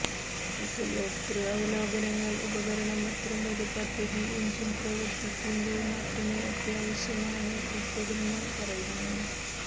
ഉപയോക്തൃ അവലോകനങ്ങൾ ഉപകരണം അത്തരമൊരു പദ്ധതി എഞ്ചിൻ പ്രവർത്തിക്കുമ്പോൾ മാത്രമേ അത്യാവശ്യമാണ് ഉൾപ്പെടുന്ന പറയുന്നു